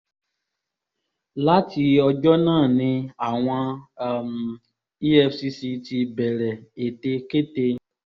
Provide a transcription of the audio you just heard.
láti ọjọ́ náà ni àwọn um efcc ti bẹ̀rẹ̀ ètekéte